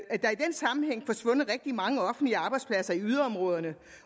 den sammenhæng forsvundet rigtig mange offentlige arbejdspladser i yderområderne